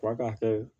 Fura ka hɛrɛ